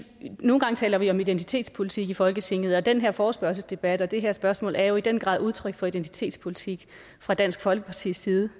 nogle gange taler vi om identitetspolitik i folketinget og den her forespørgselsdebat og det her spørgsmål er jo i den grad udtryk for identitetspolitik fra dansk folkepartis side